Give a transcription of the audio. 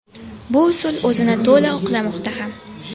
Bu usul o‘zini to‘la oqlamoqda ham.